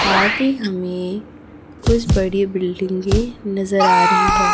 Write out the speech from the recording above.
साथ ही हमें कुछ बड़ी बिल्डिंगे की नजर आ रही है।